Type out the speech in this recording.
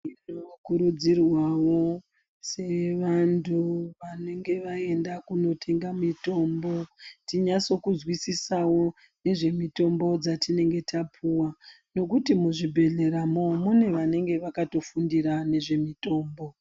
Tinokurudzirwawo sevanthu vanenge vaenda kunotenga mitombo, tinase kuzwisisawo nezvemitombo dzatinenge tapuwa nekuti muzvibhedhleramo mune vanenge vakatofundira zvemutombo.